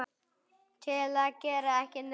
til að gera ekki neitt